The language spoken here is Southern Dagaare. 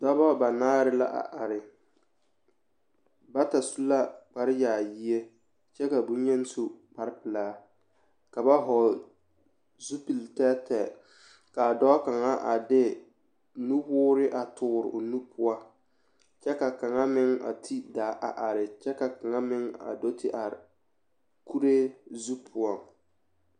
Dɔba banaare la a are bata su la kpareyaayie kyɛ ka bonyeni su kparepelaa ka ba hɔgle zupilitɛɛtɛɛ k,a dɔɔ kaŋa a de nuwoore a toore o nu poɔ kyɛ ka kaŋa meŋ a ti daa a are kyɛ ka kaŋa meŋ a do te are kuree zu poɔŋ.